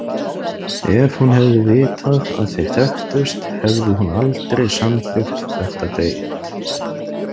Ef hún hefði vitað að þeir þekktust hefði hún aldrei samþykkt þetta deit.